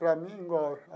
Para mim, igual.